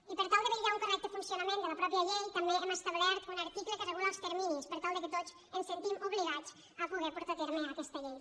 i per tal de vetllar per un correcte funcionament de la mateixa llei també hem establert un article que regula els terminis per tal que tots ens sentim obligats a poder portar a terme aquesta llei